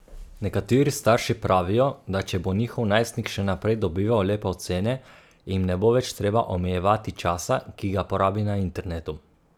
Nekateri starši pravijo, da če bo njihov najstnik še naprej dobival lepe ocene, jim ne bo več treba omejevati časa, ki ga porabi na internetu.